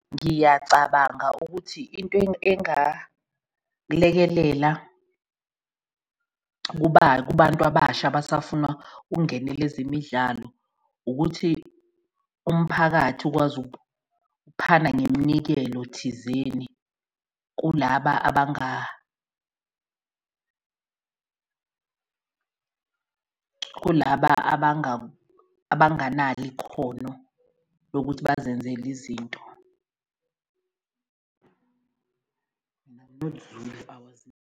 Ngiyacabanga ukuthi into engalekelela kuba kubantu abasha abasafuna ukungenela ezemidlalo ukuthi umphakathi ukwazi ukuphana ngemnikelo thizeni kulaba kulaba abangalo ikhono lokuthi bazenzele izinto .